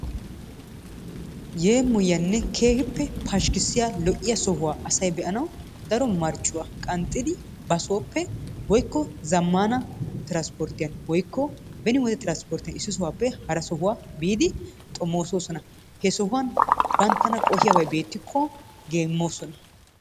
Yemoyiyanne kehippe pashikisiyaa lo'iyaa sohuwaa asay be'anawu daro marcuwaa qanxidi bassoppe zamanna transportiyaa woyko benni wodee transportiyaa iiss sohuwaape hara sohuwaa biddi xomososonna he sohuwan banttannaa qohiyabay bettikko gemosonnaa.